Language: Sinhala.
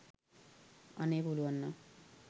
අනේ පුලුවන් නම්